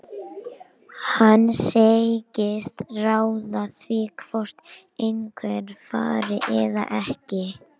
Hann segist ráða því hvort einhver fari eða ekki.